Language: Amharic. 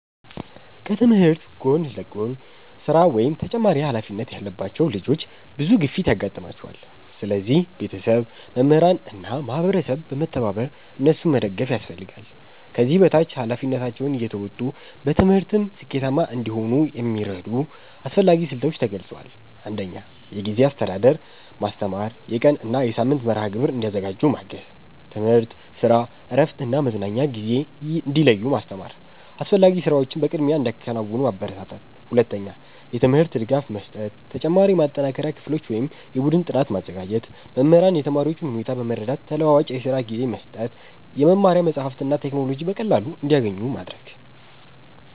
ከትምህርት ጎን ለጎን ስራ ወይም ተጨማሪ ኃላፊነት ያለባቸው ልጆች ብዙ ግፊት ያጋጥማቸዋል። ስለዚህ ቤተሰብ፣ መምህራን እና ማህበረሰብ በመተባበር እነሱን መደገፍ ያስፈልጋል። ከዚህ በታች ኃላፊነታቸውን እየተወጡ በትምህርትም ስኬታማ እንዲሆኑ የሚረዱ አስፈላጊ ስልቶች ተገልጸዋል። 1. የጊዜ አስተዳደር ማስተማር የቀን እና የሳምንት መርሃ ግብር እንዲያዘጋጁ ማገዝ። ትምህርት፣ ስራ፣ እረፍት እና መዝናኛ ጊዜ እንዲለዩ ማስተማር። አስፈላጊ ስራዎችን በቅድሚያ እንዲያከናውኑ ማበረታታት። 2. የትምህርት ድጋፍ መስጠት ተጨማሪ የማጠናከሪያ ክፍሎች ወይም የቡድን ጥናት ማዘጋጀት። መምህራን የተማሪዎቹን ሁኔታ በመረዳት ተለዋዋጭ የስራ ጊዜ መስጠት። የመማሪያ መጻሕፍትና ቴክኖሎጂ በቀላሉ እንዲያገኙ ማድረግ።